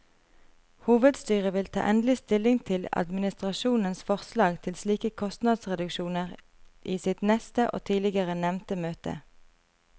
Hovedstyret vil ta endelig stilling til administrasjonens forslag til slike kostnadsreduksjoner i sitt neste og tidligere nevnte møte.